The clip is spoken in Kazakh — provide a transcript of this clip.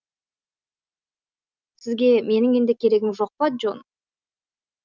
сізге менің енді керегім жоқ па джон